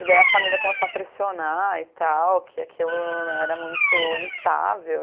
E daí a família começou a pressionar e tal, que aquilo era muito instável.